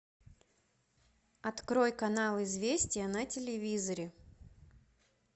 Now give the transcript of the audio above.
открой канал известия на телевизоре